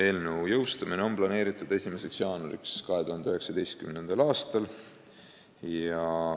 Eelnõu seadusena jõustumine on planeeritud 1. jaanuariks 2019.